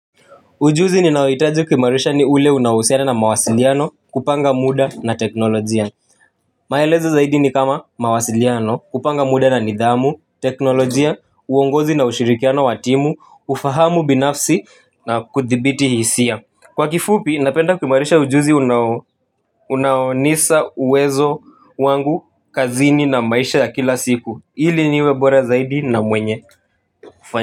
Ujuzi ninayohitaji kuimarisha ni ule unaouhusiana na mawasiliano kupanga muda na teknolojia maelezo zaidi ni kama mawasiliano kupanga muda na nidhamu teknolojia uongozi na ushirikiano wa timu ufahamu binafsi na kuthibiti hisia kwa kifupi napenda kuimarisha ujuzi unao unaonisa uwezo wangu kazini na maisha ya kila siku hili niwe bora zaidi na mwenye kufanya.